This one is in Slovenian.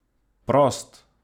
Prost!